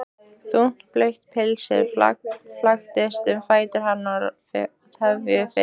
Þungt blautt pilsið flaksast um fætur hennar og tefur fyrir.